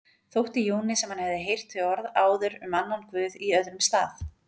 Þótti Jóni sem hann hefði heyrt þau orð áður um annan guð í öðrum stað.